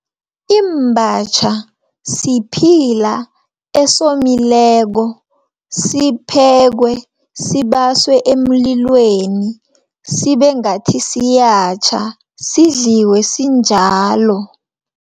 Imbatjha siphila esomileko, siphekwe, sibasiwe emlilweni, sibengathi siyatjha sidliwe sinjalo.